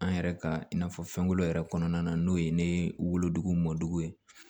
An yɛrɛ ka i n'a fɔ fɛnkolo yɛrɛ kɔnɔna na n'o ye ne wolodugu mɔdugu ye